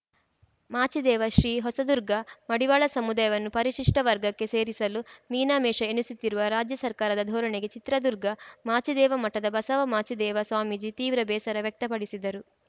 ಮಾಚಿದೇವ ಶ್ರೀ ಹೊಸದುರ್ಗ ಮಡಿವಾಳ ಸಮುದಾಯವನ್ನು ಪರಿಶಿಷ್ಟವರ್ಗಕ್ಕೆ ಸೇರಿಸಲು ಮೀನಾಮೇಷ ಎಣಿಸುತ್ತಿರುವ ರಾಜ್ಯ ಸರ್ಕಾರದ ಧೋರಣೆಗೆ ಚಿತ್ರದುರ್ಗ ಮಾಚಿದೇವ ಮಠದ ಬಸವ ಮಾಚಿದೇವ ಸ್ವಾಮೀಜಿ ತೀವ್ರ ಬೇಸರ ವ್ಯಕ್ತ ಪಡಿಸಿದರು